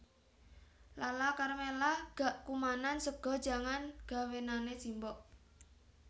Lala Karmela gak kumanan sega jangan gawenane simbok